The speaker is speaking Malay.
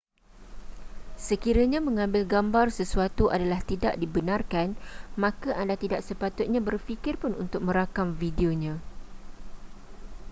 sekiranya mengambil gambar sesuatu adalah tidak dibenarkan maka anda tidak sepatutnya berfikir pun untuk merakam videonya